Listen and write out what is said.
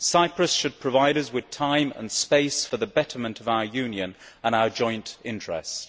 Cyprus should provide us with time and space for the betterment of our Union and in our joint interests.